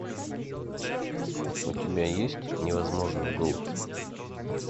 у тебя есть невозможный голубь